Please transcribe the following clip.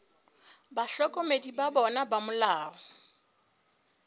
bahlokomedi ba bona ba molao